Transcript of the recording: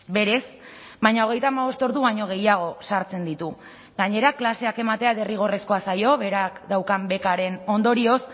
berez baina hogeita hamabost ordu baino gehiago sartzen ditu gainera klaseak ematea derrigorrezkoa zaio berak daukan bekaren ondorioz